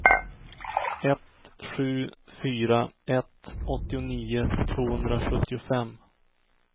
ett sju fyra ett åttionio tvåhundrasjuttiofem